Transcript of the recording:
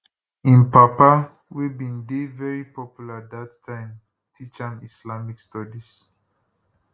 im papa wey bin dey veri popular dat time teach am islamic studies